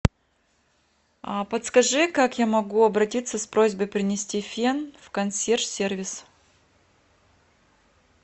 подскажи как я могу обратиться с просьбой принести фен в консьерж сервис